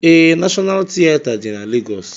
Ee, Nashọnal tieta dị na Legọs.